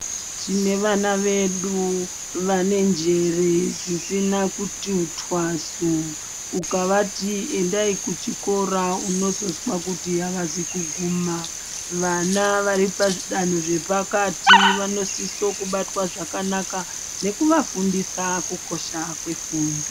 Tine vana vedu vane njere dzisina kuti twasu ukavati endai kuchikora unozonzwa kuti avazi kuguma vana vari pazvidanho zvepakati vanosiswa kubatwa zvakanaka nekuvafundisa kukosha kwefundo.